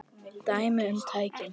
Dæmi um tækni